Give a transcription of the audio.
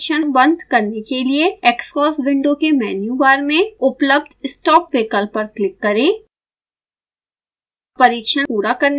अब परिक्षण बंद करने के लिए xcos विंडो के मन्यु बार में उपलब्ध stop विकल्प पर क्लिक करें